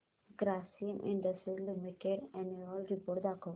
Grasim industries limited annual report दाखव